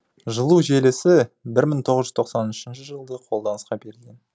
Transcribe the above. жылу желісі бір мың тоғыз жүз тоқсан үшінші жылы қолданысқа берілген